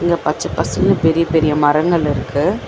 இங்க பச்ச பாசேன்னு பெரிய பெரிய மரங்கள் இருக்கு.